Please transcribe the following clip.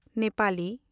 Nepali